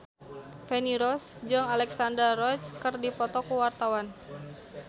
Feni Rose jeung Alexandra Roach keur dipoto ku wartawan